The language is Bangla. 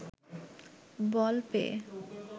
বল পেয়ে